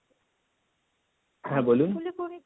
হ্যাঁ বলুন